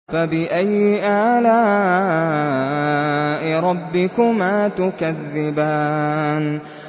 فَبِأَيِّ آلَاءِ رَبِّكُمَا تُكَذِّبَانِ